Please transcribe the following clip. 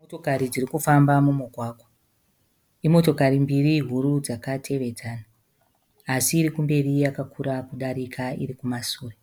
Motokari dziri kufamba mumugwagwa. Imotokari mbiri huru dzakatevedzana asi iri kumberi yakakura kudarika iri kumasure.